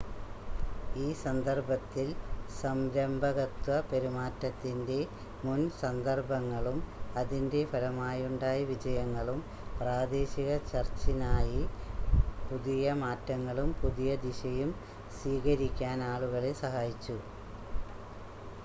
ഈ സന്ദർഭത്തിൽ സംരംഭകത്വ പെരുമാറ്റത്തിൻ്റെ മുൻ സന്ദർഭങ്ങളും അതിൻ്റെ ഫലമായുണ്ടായ വിജയങ്ങളും പ്രാദേശിക ചർച്ചിനായി പുതിയ മാറ്റങ്ങളും പുതിയ ദിശയും സ്വീകരിക്കാൻ ആളുകളെ സഹായിച്ചു